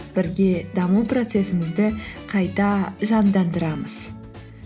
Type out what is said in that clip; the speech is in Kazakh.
бірге даму процессімізді қайта жандандырамыз